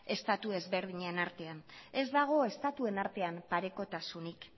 estatu ezberdinen artean ez dago estatuen artean parekotasunik